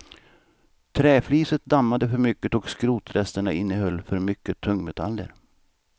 Träfliset dammade för mycket och skrotresterna innehöll för mycket tungmetaller.